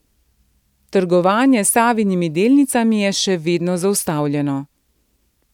Trgovanje s Savinimi delnicami je še vedno zaustavljeno.